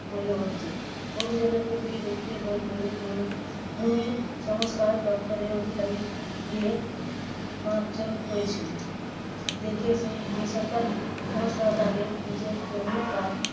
বলে অভিযোগ। অভিযোগ খতিয়ে দেখতে বোলপুরে ভূমি~ ভূমিসংস্কার দপ্তরে অধিকারী গিয়ে মাপযোগ করেছিল। দেখে সেই বেসরকারি সংস্থা তাদের নিজের জমি বাদ